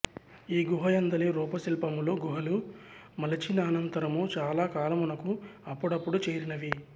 ఈగుహయందలి రూపశిల్పములు గుహలు మలిచినానంతరము చాలా కాలమునకు అప్పుడప్పుదు చేరినవి